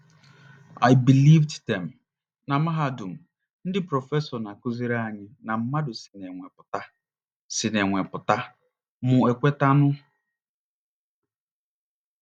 I believed them. Na mahadum, ndị prọfesọ na - akụziri anyị na mmadụ si n’enwe pụta si n’enwe pụta, mụ ekwetanụ.